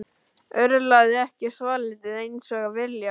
Örlaði ekki svolítið eins og á vilja?